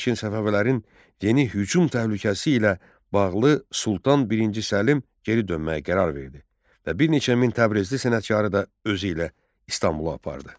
Lakin Səfəvilərin yeni hücum təhlükəsi ilə bağlı Sultan birinci Səlim geri dönməyi qərar verdi və bir neçə min təbrizli sənətkarı da özü ilə İstanbula apardı.